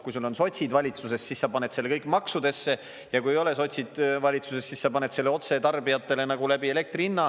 Kui sul on sotsid valitsuses, siis sa paned selle kõik maksudesse, ja kui ei ole sotsid valitsuses, siis sa paned selle otse tarbijatele nagu läbi elektri hinna.